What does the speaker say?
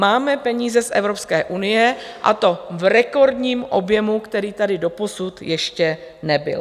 Máme peníze z Evropské unie, a to v rekordním objemu, který tady doposud ještě nebyl.